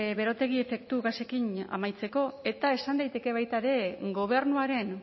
berotegi efektu gasekin amaitzeko eta esan daiteke baita ere gobernuaren